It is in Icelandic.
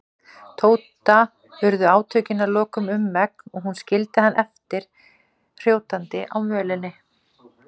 Tóta urðu átökin að lokum um megn og hún skildi hann eftir hrjótandi á mölinni.